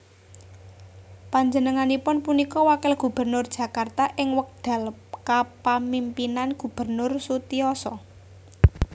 Panjenenganipun punika wakil gubernur Jakarta ing wekdal kapamimpinan Gubernur Sutiyoso